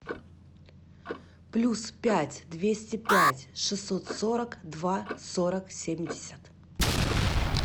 плюс пять двести пять шестьсот сорок два сорок семьдесят